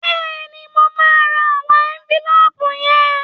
Bẹ́ẹ̀ni, mo máa ra àwọn ẹ́ńfílóòpù yẹn